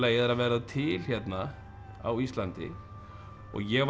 er að verða til hérna á Íslandi og ég varð